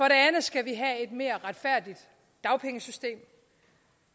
andet skal vi have et mere retfærdigt dagpengesystem